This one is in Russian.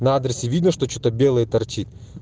на адресе видно что что то белое торчит